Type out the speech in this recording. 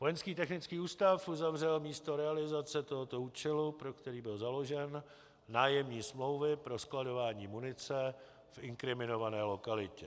Vojenský technický ústav uzavřel místo realizace tohoto účelu, pro který byl založen, nájemní smlouvy pro skladování munice v inkriminované lokalitě.